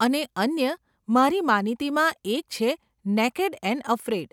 અને અન્ય મારી માનીતીમાં એક છે નેકેડ એન્ડ અફ્રેઈડ.